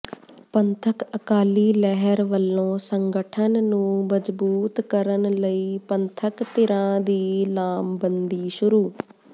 ਪੰਥਕ ਅਕਾਲੀ ਲਹਿਰ ਵੱਲੋਂ ਸੰਗਠਨ ਨੂੰ ਮਜ਼ਬੂਤ ਕਰਨ ਲਈ ਪੰਥਕ ਧਿਰਾਂ ਦੀ ਲਾਮਬੰਦੀ ਸ਼ੁਰੂ